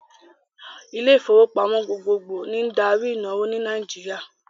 Ilé ìfowópamọ́ gbogbogbò ni n darí ìnáwó ní Nàìjíríà